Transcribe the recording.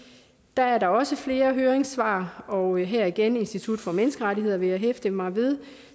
der er også flere høringssvar og her igen institut for menneskerettigheder vil jeg hæfte mig ved